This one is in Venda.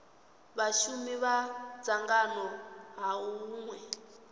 vhashumi kha dzangano ha hunwe